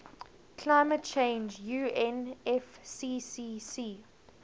climate change unfccc